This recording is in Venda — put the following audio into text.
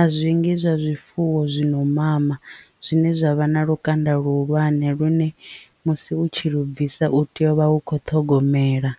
a zwingi zwa zwifuwo zwi no mama zwine zwa vha na lukanda luhulwane lune musi u tshi lu bvisa u tea u vha u kho ṱhogomela.